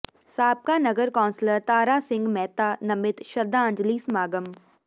ਸਾਬਕਾ ਨਗਰ ਕੌਾਸਲਰ ਤਾਰਾ ਸਿੰਘ ਮਹਿਤਾ ਨਮਿਤ ਸ਼ਰਧਾਂਜਲੀ ਸਮਾਗਮ